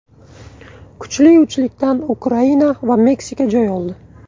Kuchli uchlikdan Ukraina va Meksika joy oldi.